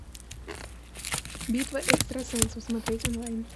битва экстрасенсов смотреть онлайн